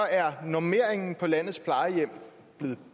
er normeringen på landets plejehjem blevet